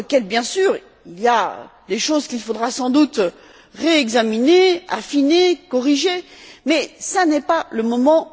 Bien sûr, il y a des choses qu'il faudra sans doute réexaminer, affiner, corriger mais ce n'est pas le moment.